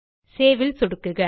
save ல் சொடுக்குக